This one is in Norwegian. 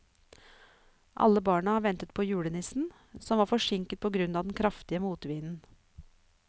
Alle barna ventet på julenissen, som var forsinket på grunn av den kraftige motvinden.